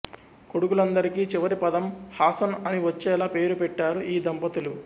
కొడుకులందరికి చివరి పదం హాసన్ అని వచ్చేలా పేరు పెట్టారు ఈ దంపతులు